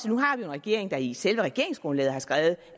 jo en regering der i selve regeringsgrundlaget har skrevet